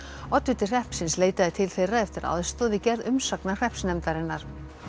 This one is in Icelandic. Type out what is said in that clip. oddviti hreppsins leitaði til þeirra eftir aðstoð við gerð umsagnar hreppsnefndarinnar